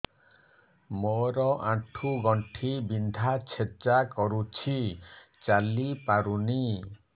ମୋର ଆଣ୍ଠୁ ଗଣ୍ଠି ବିନ୍ଧା ଛେଚା କରୁଛି ଚାଲି ପାରୁନି